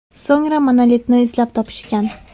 So‘ngra monolitni izlab topishgan.